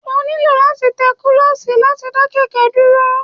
o niló latí té kulosí latí da kẹkẹ duro